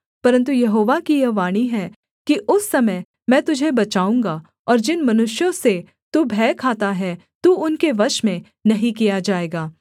परन्तु यहोवा की यह वाणी है कि उस समय मैं तुझे बचाऊँगा और जिन मनुष्यों से तू भय खाता है तू उनके वश में नहीं किया जाएगा